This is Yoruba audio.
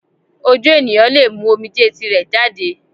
Ojú ènìyàn lè mú omijé tirẹ̀ jáde